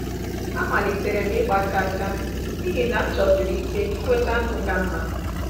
Amalitere m ịgba chaa chaa n’ihi na m chọsiri ike inweta ndụ ka mma.